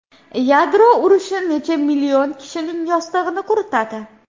Yadro urushi necha million kishining yostig‘ini quritadi?